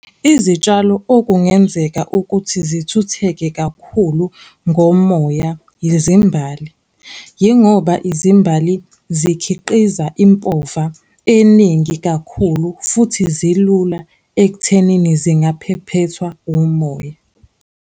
Izitshalo okungenzeka ukuthi zithutheke kakhulu ngomoya, yizimbali, yingoba izimbali zikhiqiza impova eningi kakhulu futhi zilula ekuthenini zingaphephethwa umoya.